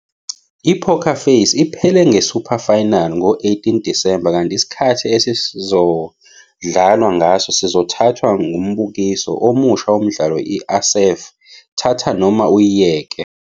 I-Poker Face" iphele nge-super final ngo-18 Disemba kanti isikhathi "esizodlalwa ngaso sizothathwa ngumbukiso" omusha womdlalo i-A Széf, "Thatha noma" uyiyeke.